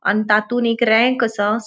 अन तातुन एक रैंक असा.